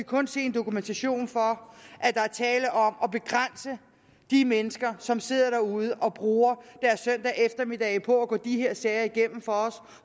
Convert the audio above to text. kun se en dokumentation for at der er tale om at begrænse de mennesker som sidder derude og bruger deres søndag eftermiddage på at gå de her sager igennem for os